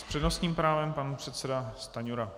S přednostním právem pan předseda Stanjura.